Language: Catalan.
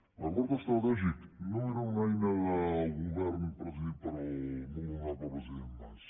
l’acord estratègic no era una eina del govern presidit pel molt honorable president mas